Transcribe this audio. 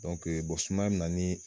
sumaya bɛ na ni